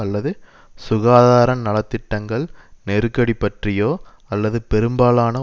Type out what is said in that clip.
அல்லது சுகாதார நலத்திட்டங்கள் நெருக்கடி பற்றியோ அல்லது பெரும்பாலான